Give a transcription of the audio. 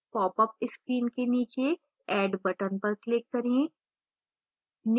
popअप screen के नीचे add button पर click करें